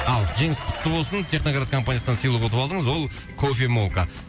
ал жеңіс құтты болсын техноград компаниясынан сыйлық ұтып алдыңыз ол кофемолка